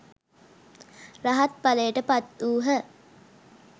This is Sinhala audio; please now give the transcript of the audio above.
රහත්ඵලයට පත්වූහ.